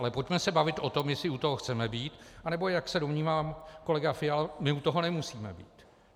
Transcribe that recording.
Ale pojďme se bavit o tom, jestli u toho chceme být, anebo jak se domnívá kolega Fiala, my u toho nemusíme být.